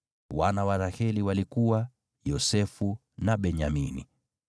Wana wa Raheli walikuwa: Yosefu na Benyamini.